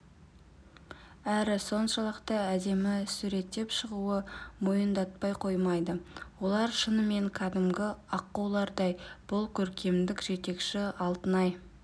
әрі соншалықты әдемі суреттеп шығуы мойындатпай қоймайды олар шынымен кәдімгі аққулардай бұл көркемдік жетекші алтынай